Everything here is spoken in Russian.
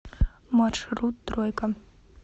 маршрут тройка